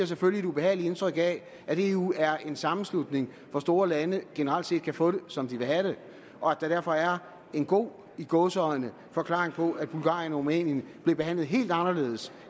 selvfølgelig et ubehageligt indtryk af at eu er en sammenslutning hvor store lande generelt set kan få det som de vil have det og at der derfor er en god i gåseøjne forklaring på at bulgarien og rumænien blev behandlet helt anderledes